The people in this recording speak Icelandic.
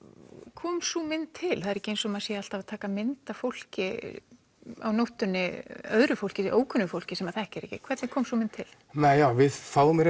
kom sú mynd til það er ekki eins og maður sé alltaf að taka mynd af fólki á nóttunni öðru fólki ókunnugu fólki sem maður þekkir ekki hvernig kom sú mynd til nei já við fáum í